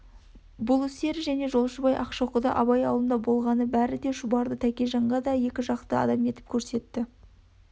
бұл істері және жолшыбай ақшоқыда абай аулында болғаны бәрі де шұбарды тәкежанға да екіжақты адам етіп көрсетті